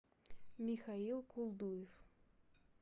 михаил колдуев